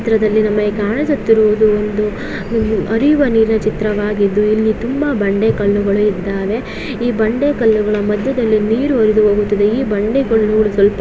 ಈ ಚಿತ್ರದಲ್ಲಿ ನಮಗೆ ಕಾಣಿಸುತ್ತಿರುವುದು ಒಂದು ಆಹ್ಹ್ ಹರಿಯುವ ನೀರಿನ ಚಿತ್ರವಾಗಿದ್ದು ಇಲ್ಲಿ ತುಂಬಾ ಬಂಡೆಕಲ್ಲುಗಳು ಇದ್ದವೇ ಈ ಬಂಡೆಕಲ್ಲುಗಳ ಮದ್ಯದಲ್ಲಿ ನೀರು ಹರಿದು ಹೋಗುತ್ತದೆ ಈ ಬಂಡೆ ಕಲ್ಲುಗಳು--